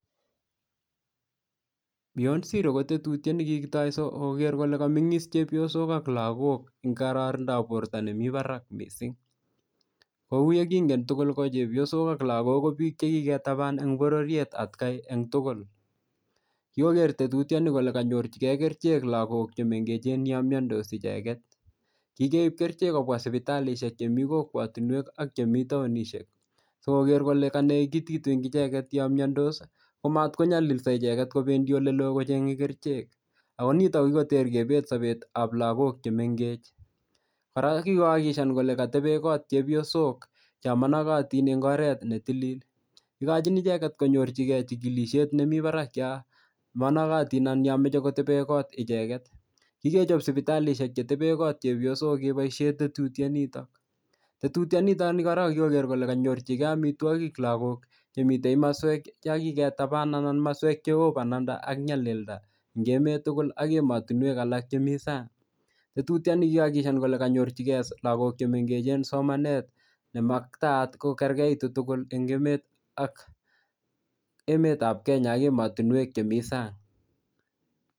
Beyond Zero ko tetutiet ne kikitoi sikoger kole kamengis chepyosok ak lagok eng kororonindap borto nemi barak mising. Kou ye kingen tugul ko chepyosok ak lagok ko biik che kiketaban en bororiet atkai en tugul. Kikoker tetutioni kole kanyorchige kerichek lagok che miandos yon mache kerichek lagok che mengechen yon miandos icheget. Kigeip kerichek kobwa sipitalisiek chemi kokwatinwek ak chemi taonisiek sikoger kole kanegitit eng icheget yomiandos komatkonyalilso icheget kopendi oleloo kochenge kerichek akonito kikoter kebet sobetab lagok chemengech. Kora kikoakikishan kole katebe kot chepyosok cho monogotin en imbaret netilil. Ikochin icheget konyor chikilisiet nemi barak yon managotin anan yon moche koteben kot icheget. Kikechop sipitalisiek chetebe kot chepyosok keboisie tetutianitok. Tetutianito ni korok kokikoger kole kanyorchige amitwogik lagok che mite imaswek cho kigetaban anan kimaswek cheo bananda ak nyalilda eng emet tugul ak ematinwek alak chemi sang. Tututiani kokiakikishan kole kanyorchige lagok che mengechen somanet nemaktaat kokergeitu tugul eng emet, emetab Kenya ak ematinwek che mi sang.